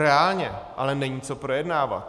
Reálně ale není co projednávat.